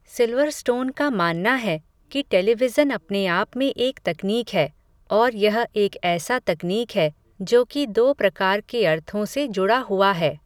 Silverstone का मानना है, कि टेलीविज़न अपने आप में एक तकनीक है, औऱ यह एक ऐसा तकनीक है, जो कि दो प्रकार के अर्थों से जुड़ा हुआ है